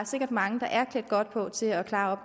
sikkert mange der er klædt godt på til at klare